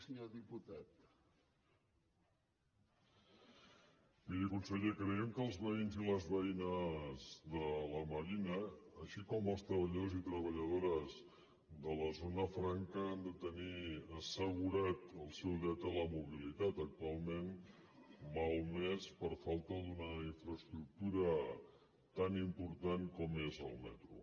miri conseller creiem que els veïnes i les veïnes de la marina així com els treballadors i treballadores de la zona franca han de tenir assegurat el seu dret a la mobilitat actualment malmès per falta d’una infraestructura tan important com és el metro